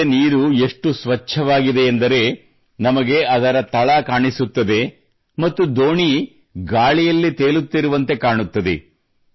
ನದಿಯ ನೀರು ಎಷ್ಟು ಸ್ವಚ್ಛವಾಗಿದೆಯೆಂದರೆ ನಮಗೆ ಅದರ ತಳ ಕಾಣಿಸುತ್ತದೆ ಮತ್ತು ದೋಣಿ ಗಾಳಿಯಲ್ಲಿ ತೇಲುತ್ತಿರುವಂತೆ ಕಾಣುತ್ತದೆ